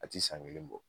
A ti san kelen bɔ